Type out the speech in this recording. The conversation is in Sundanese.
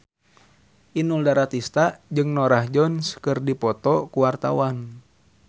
Inul Daratista jeung Norah Jones keur dipoto ku wartawan